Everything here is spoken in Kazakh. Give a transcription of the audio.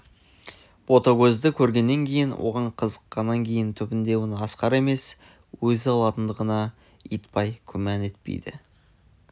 ботагөзді көргеннен кейін оған қызыққаннан кейін түбінде оны асқар емес өзі алатындығына итбай күмән етпейді